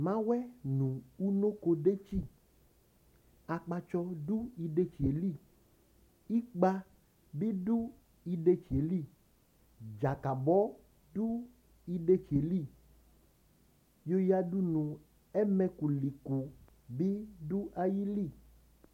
mawɛ nʋ ʋnokodʒtsi akpatsɔ ɖʋ iɖʒtsiɛli ikpeabi ɖʋ iɖʒtsiɛli ɖƶakabɔ ɖʋ iɖʒtsiɛli yɔyaɖʋnʋ ɛmɛkʋlikʋ bi ɖʋ ayili